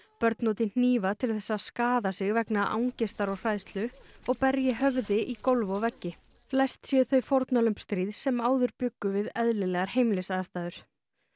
börn noti hnífa til þess að skaða sig vegna angistar og hræðslu og berji höfði í gólf og veggi flest séu þau fórnarlömb stríðs sem áður bjuggu við eðlilegar heimilisaðstæður